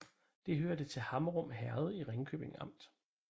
Det hørte til Hammerum Herred i Ringkøbing Amt